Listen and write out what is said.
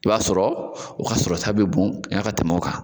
I b'a sɔrɔ o ka sɔrɔta bɛ bon ka tɛmɛ o kan.